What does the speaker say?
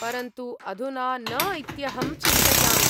परन्तु अधुना न इत्यहम् चिन्तयामि।